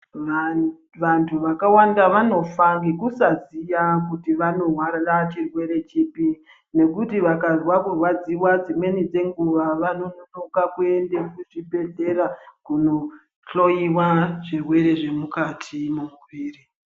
Vantu vakawanda vanofa ngekusa ziya kuti vanorwarira chirwere chipi nekuti vakazwa kurwadziwa dzimweni dzenguva vano nonoka kuende ku chibhedhlera kuno hloyiwa zvirwere zve mukati mu muviri.